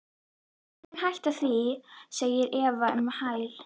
Engin hætta á því, segir Eva um hæl.